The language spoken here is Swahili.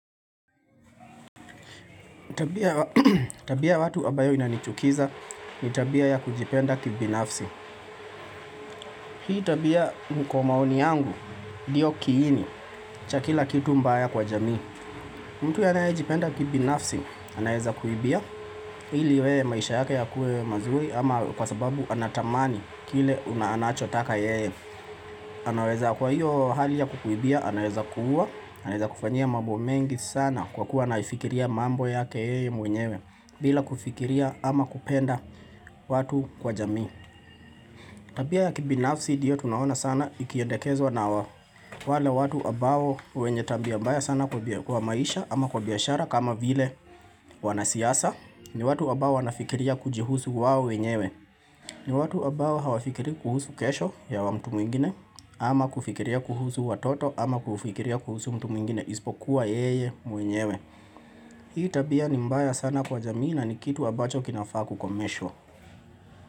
Tabia ya watu ambayo inanichukiza ni tabia ya kujipenda kibinafsi. Hii tabia kwa maoni yangu ndiyo kiini cha kila kitu mbaya kwa jamii. Mtu anaye jipenda kibinafsi, anaweza kuibia. Ili yeye maisha yake ya kuwe mazuri ama kwa sababu anatamani kile anachotaka yeye. Anaweza kwa hiyo hali ya kukuibia, anaweza kuua. Anaweza kufanya mambo mengi sana kwa kuwa anaifikiria mambo yake ye mwenyewe. Bila kufikiria ama kupenda watu kwa jamii Tabia ya kibinafsi ndiyo tunaona sana ikiendekezwa na wale watu ambao wenye tabia mbaya sana kwa maisha ama kwa biashara kama vile wanasiasa, ni watu ambao wanafikiria kujihusu wao wenyewe ni watu ambao hawafikiri kuhusu kesho ya mtu mwingine ama kufikiria kuhusu watoto ama kufikiria kuhusu mtu mwingine isipokuwa yeye mwenyewe Hii tabia ni mbaya sana kwa jamii na ni kitu ambacho kinafaa kukomeshwa.